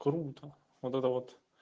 круто вот это вот